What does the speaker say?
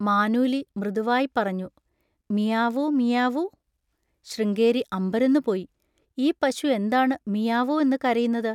മാനൂലി മൃദുവായിപ്പറഞ്ഞു: മിയാവൂ. മിയാവൂ? ശൃംഗേരി അമ്പരന്നുപോയി. ഈ പശു എന്താണ് മിയാവൂ എന്ന് കരയുന്നത്?